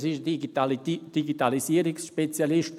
Er ist ein Digitalisierungsspezialist.